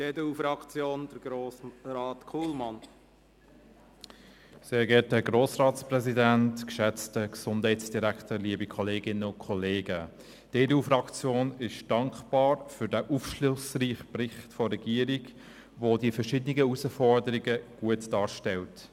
Die EDU-Fraktion ist dankbar für den aufschlussreichen Bericht der Regierung, der die verschiedenen Herausforderungen gut darstellt.